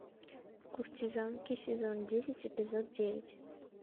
куртизанки сезон десять эпизод девять